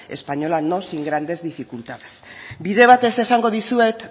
española no sin grandes dificultades bide bat ez esango dizuet